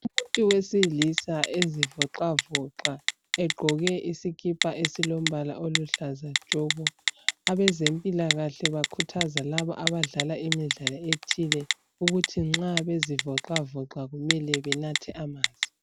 Umuntu wesilisa ezivoxavoxa egqoke isikipa esilombala oluhlaza tshoko. Abezempilakahle bakhuthaza labo abadlala imidlalo ethile ukuthi nxa bezivoxavoxa kumele benathe amanzi.